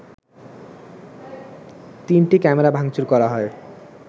তিনটি ক্যামেরা ভাংচুর করা হয়